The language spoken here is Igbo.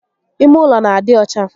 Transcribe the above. Ime ụlọ n'adị ọcha